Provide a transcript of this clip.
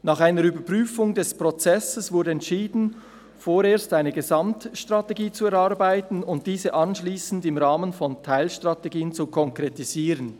Nach einer Überprüfung des Prozesses wurde entschieden vorerst eine Gesamtstrategie zu erarbeiten und diese im Rahmen von Teilstrategien zu konkretisieren.